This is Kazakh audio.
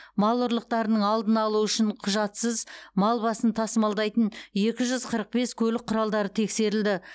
мал ұрлықтарының алдын алу үшін құжатсыз мал басын тасымалдайтын екі жүз қырық бес көлік құралдары тексерілді